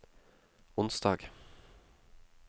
onsdag